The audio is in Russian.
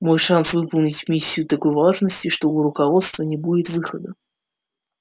мой шанс выполнить миссию такой важности что у руководства не будет выхода кроме как помиловать меня